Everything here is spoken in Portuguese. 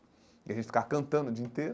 E a gente ficar cantando o dia inteiro,